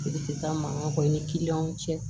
Sigi tɛ taa mankan kɔ ni kiliyanw cɛ